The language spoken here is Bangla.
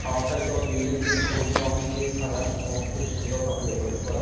অট্টালিকা বা বিল্ডিং -টি সবুজ রং দিয়ে সাজানো এবং খুব সুন্দর ভাবে ডেকোরেট করা।